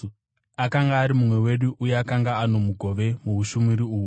akanga ari mumwe wedu uye akanga ano mugove muushumiri uhu.”